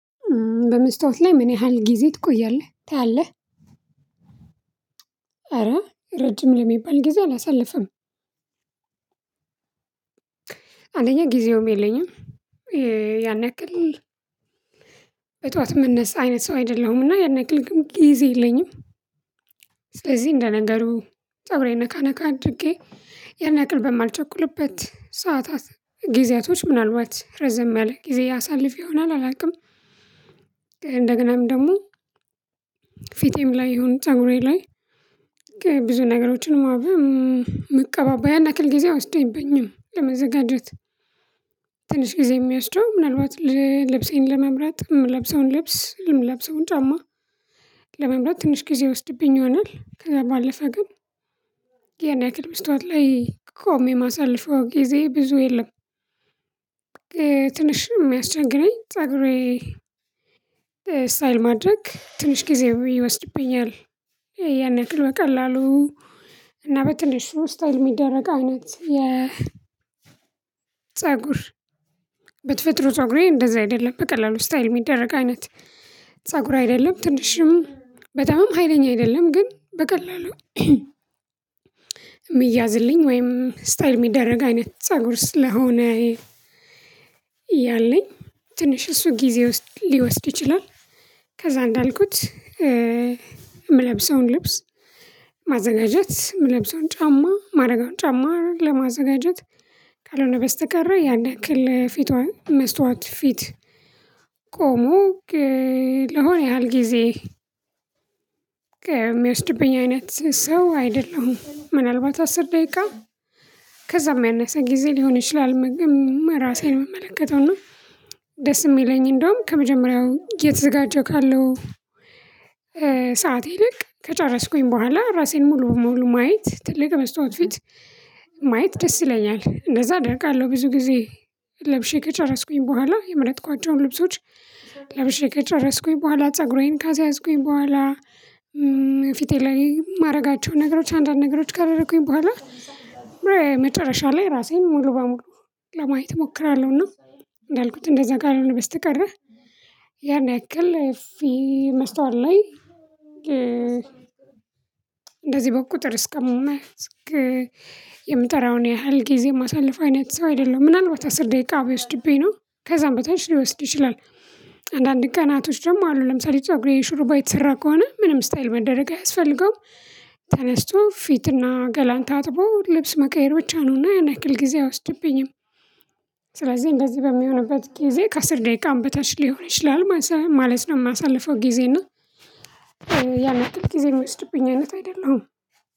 በመስታወት ላይ ምን ያህል ጊዜ ትቆያለህ ታያለህ? ኧረ ረጅም ለሚባል ጊዜ አላሳልፍም። አንደኛ ጊዜውም የለኝም። ያን ያክል በጥዋት እመነሳ አይነት ሰው አይደለሁምና ያን ያክል ጊዜ የለኝም። ስለዚህ እንደ ነገሩ ፀጉሬን ነካ ነካ አድርጌ የን ያክል በማልቸኩልበት ሰዓታት ጊዜያቶች ምናልባት ረዘም ያለ ጊዜ አሳልፍ ይሆናል አላቅም። እንደገናም ደግሞ ፊቴም ላይ ይሁን ፀጉሬ ላይ ብዙ ነገሮችን መቀባባ ያን ያክል ጊዜ አይወስደኝብኝም ለመዘጋጀት። ትንሽ ጊዜ አሚያወስደው ምናልባት ልብሴን ለመምራት እምለብሰውን ልብስ የምለብሰውን ጫማ ለመምራጥ ትንሽ ጊዜ የወስድብኝ ይሆናል ከዛ ባለፈ ግን ያን ያክል መስታወት ላይ ቆሜ እማሳለፍው ጊዜ ብዙ የለም። ትንሽ እሚያስቸግረኝ ፀጉሬ ስታይል ማድረግ ትንሽ ጊዜ ይወስድብኛል። ያን ያክል በቀላሉ እና በትንሹ ስታየል የሚደረግ አይነት የ ፀጉር በተፈጥሮ ፀጉሬ እንደዛ አይደለም በቀላሉ ስታይል እሚደረግ አይነት ፀጉር አይደለም ትንሽም በጣም ሀይለኛ አይደለም ግን በቀላሉ እምያዝልኝ ወይም ስታይል እሚደረግ አይነት ፀጉር ስለሆነ ያለኝ ትንሽ እሱ ጊዜ ሊወስድ ይችላል። ከዛ እንዳልኩት የምለብሰውን ልብስ ማዘጋጀት እምለብሰውን ጫማ ማድረግ ጫማ ለማዘጋጀት ካልሆነ በስተቀር ያንን ያክል ፊቷን መስታወት ፊት ቆሞ ለሆነ ያህል ጊዜ እሚይወስድብኝ አይነት ሰው አይደለሁም። ምናልባት አስር ደቂቃ ከዛም ያነሰ ጊዜ ሊሆን ይችላል። መገመት ራሴን ምመለከተው እና ደስ እሚለኝ እንደውም ከመጀመሪያው እየተዘጋጀው ካለሁ ሰዓት ይልቅ ከጨረስኩኝ በኋላ ራሴን ሙሉ ሙሉ ማየት ትልቅ በስታዋት ፊት ማየት ደስ ይለኛል እንደዛ አደርጋለሁ። ብዙ ጊዜ ለብሼ ከጨረስኩኝ በኋላ የመረጥኳቸዉን ልብሶች ለብሼ ከጨረስኩኝ በኋላ ፀጉሬን ካሰያዝኩኝ በኋላ ፊቴ ላይ እማድረጋቸው ነገሮች አንዳንድ ነገሮች ካደረኩኝ በኋላ መጨረሻ ላይ ራሴን ሙሉ በሙሉ ለማየት እሞክራለሁና። እንዳልኩት እንደዛ ካልሆነ በስተቀረ ያን ያክል ፊ መስታወት ላይ እንደዚህ በቁጥር እስከመሆኑ የምጠራውን ያህል ጊዜ እማሳለፍ አይነት ሰው አይደለም። ምናልባት አስር ደቂቃ ቢወስድብኝ ነው ከዛም በታች ሊወስድ ይችላል። አንዳንድ ቀናቶች ደግሞ አሉ ለምሳሌ ፀጉሬ ሹሩባ የተሰራ ከሆነ ምንም ስታይል መደረግ አያስፈልገውም። ተነስቶ ፊትና ገላን ታጥቦ ልብስ መቀየር ብቻ ነውና ያንያክል ጊዜ አይወስድብኝም። ስለዚህ እንደዚህ በሚሆንበት ጊዜ ከአስር ደቂቃም በታች ሊሆን ይችላል ማለት ነው። እማሳልፈው ጊዜ እና ያን ያክል ጊዜ እሚወስድብኝ አይደለም።